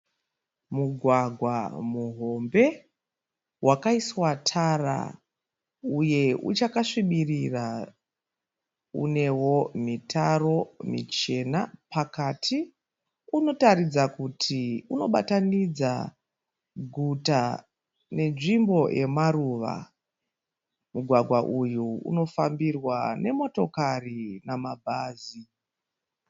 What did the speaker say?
Mugwagwa muhombe wakaiswa tara uye uchakasvibirira. Unewo mitaro michena pakati. Unoratidza kuti unobatanidza guta nenzvimbo yemaruva. Mugwagwa uyu unofambirwa nemotokari namabhazi.